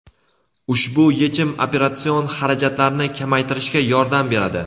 ushbu yechim operatsion xarajatlarni kamaytirishga yordam beradi.